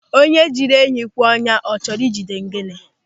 Onye jiri enyi kwee ọnyá, ọ chọrọ ị jide gịnị?